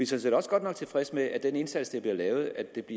set også godt tilfredse med at af den indsats der bliver lavet